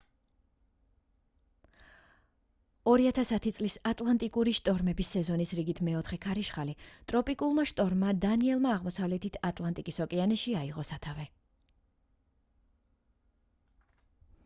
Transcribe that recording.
2010 წლის ატლანტიკური შტორმების სეზონის რიგით მეოთხე ქარიშხალი ტროპიკულმა შტორმმა დანიელმა აღმოსავლეთ ატლანტიკის ოკეანეში აიღო სათავე